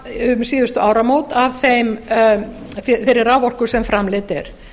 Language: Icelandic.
um síðustu áramót af þeirri raforku sem framleidd er